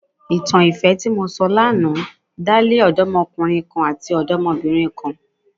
Ìtàn ìfẹ́ tí mo sọ ní àná dá lé odomọkùnrin kan àti odomobinrin kan.